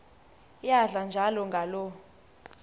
iyadla njalo ngaloo